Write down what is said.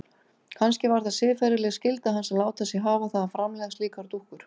Kannski var það siðferðileg skylda hans að láta sig hafa það að framleiða slíkar dúkkur.